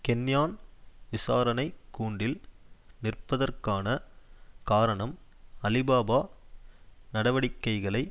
Kenyan விசாரணை கூண்டில் நிற்பதற்கான காரணம் அலிபாபா நடவடிக்கைகளை